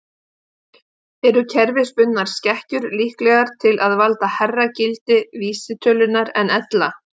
Eru kerfisbundnar skekkjur líklegar til að valda hærra gildi vísitölunnar en ella?